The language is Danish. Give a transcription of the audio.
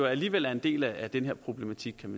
alligevel er en del af den her problematik